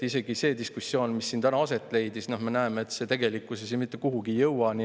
Isegi selle diskussiooni puhul, mis siin täna aset leidis, nägime, et see tegelikkuses mitte kuhugi ei jõudnud.